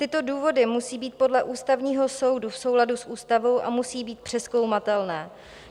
Tyto důvody musí být podle Ústavního soudu v souladu s ústavou a musí být přezkoumatelné.